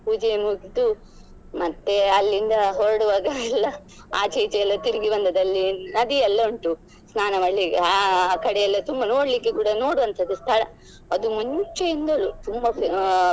ಪೂಜೆ ಮುಗ್ದು ಮತ್ತೆ ಅಲ್ಲಿಂದ ಹೊರಡುವಾಗ ಎಲ್ಲ ಆಚೆ ಈಚೆ ಎಲ್ಲ ತಿರ್ಗಿ ಬಂದದ್ದು ಅಲ್ಲಿ ನದಿ ಎಲ್ಲ ಉಂಟು ಸ್ನಾನ ಮಾಡ್ಲಿಕ್ಕೆ ಆ ಕಡೆ ಎಲ್ಲ ತುಂಬಾ ನೋಡ್ಲಿಕ್ಕೆ ಕೂಡ ನೋಡುವಂತದ್ದೆ ಸ್ಥಳ ಅದು ಮುಂಚೆಯಿಂದಲೂ ತುಂಬಾ.